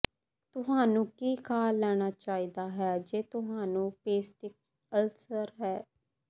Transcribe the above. ਤੁਹਾਨੂੰ ਕੀ ਖਾ ਲੈਣਾ ਚਾਹੀਦਾ ਹੈ ਜੇ ਤੁਹਾਨੂੰ ਪੇਸਟਿਕ ਅਲਸਰ ਹੈ